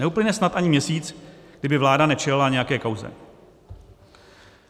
Neuplyne snad ani měsíc, kdy by vláda nečelila nějaké kauze.